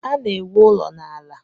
Ana-ewu ụlọ n'ala.